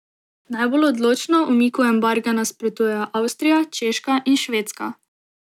Najbolj odločno umiku embarga nasprotujejo Avstrija, Češka in Švedska.